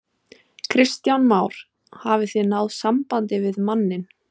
Kristján Már: Hafið þið náð sambandi við manninn?